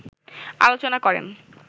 আলোচনা করেন